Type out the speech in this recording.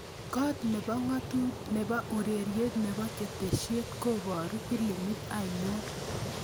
Kot nebo ureriet nebo ketesiet kobaru filimit ainon